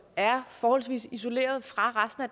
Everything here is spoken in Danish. er forholdsvis isoleret fra resten af